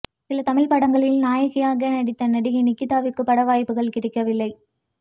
சில தமிழ் படங்களில் நாயகியாக நடித்த நடிகை நிகிதாவிற்கு பட வாய்ப்புகள் கிடைக்க வில்லை